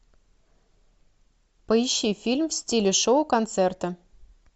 поищи фильм в стиле шоу концерта